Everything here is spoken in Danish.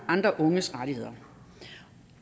andre unges rettigheder